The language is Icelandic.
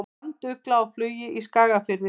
Brandugla á flugi í Skagafirði.